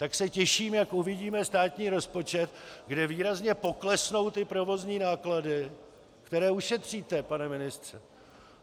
Tak se těším, jak uvidíme státní rozpočet, kde výrazně poklesnou ty provozní náklady, které ušetříte, pane ministře.